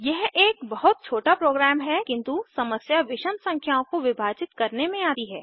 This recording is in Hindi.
यह एक बहुत छोटा प्रोग्राम है किन्तु समस्या विषम संख्याओं को विभाजित करने में आती है